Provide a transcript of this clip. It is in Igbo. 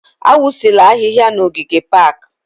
Awụsịla ahịhịa n'ogige pak!